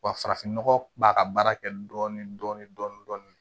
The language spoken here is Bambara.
Wa farafinnɔgɔ b'a ka baara kɛ dɔɔnin dɔɔnin